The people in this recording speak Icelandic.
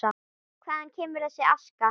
Hvaðan kemur þessi aska?